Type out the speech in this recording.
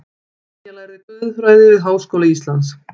Brynja lærði guðfræði við Háskóla Íslands